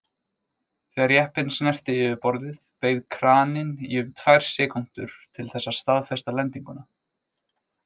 Þegar jeppinn snerti yfirborðið beið kraninn í um tvær sekúndur til þess að staðfesta lendinguna.